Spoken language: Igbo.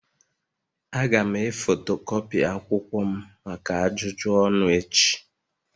Aga'm e fotokopii akwụkwọ m maka ajụjụ ọnụ echi